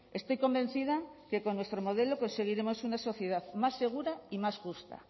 estoy convencida que con nuestro modelo conseguiremos una sociedad más segura y más justa